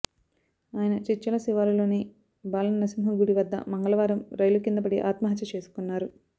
ఆయన చిట్యాల శివారులోని బాలనర్సింహ గుడి వద్ద మంగళవారం రైలు కింద పడి ఆత్మహత్య చేసుకున్నారు